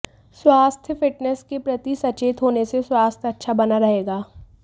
स्वास्थ्य फिटनैस के प्रति सचेत होने से स्वास्थ्य अच्छा बना रहेगा